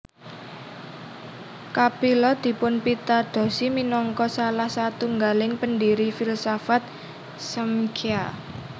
Kapila dipunpitadosi minangka salah satunggaling pendiri filsafat Smkhya